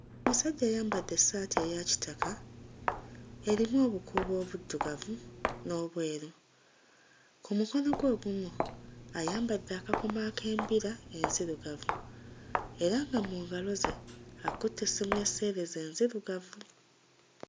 Omusajja ayambadde essaati eya kitaka erimu obukuubo obuddugavu n'obweru, ku mukono gwe ogumu ayambadde akakomo ak'embira enzirugavu era nga mu ngalo ze akutte essimu ya sseereza enzirugavu.